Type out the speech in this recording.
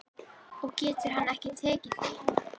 Og getur hann ekki tekið því?